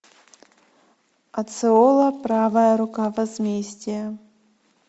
оцеола правая рука возмездия